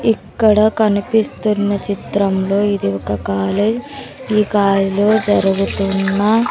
ఇక్కడ కనిపిస్తున్న చిత్రంలో ఇది ఒక కాలేజ్ ఈ కాలేజ్ లో జరుగుతున్న--